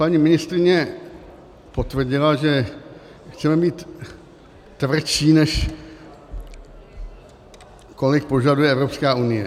Paní ministryně potvrdila, že chceme být tvrdší, než kolik požaduje Evropská unie.